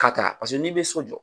Ka taa paseke n'i be so jɔ